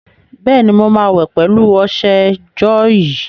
Bẹ́ẹ̀ni, mo máa wẹ̀ pẹ̀lú ọṣẹ jọ́ọ̀yì.